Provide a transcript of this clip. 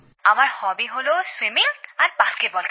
আমার হবি হল সাঁতার কাটা আর বাস্কেটবল খেলা